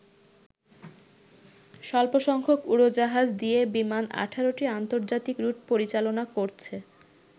স্বল্প সংখ্যক উড়োজাহাজ দিয়ে বিমান ১৮টি আন্তর্জাতিক রুট পরিচালনা করছে।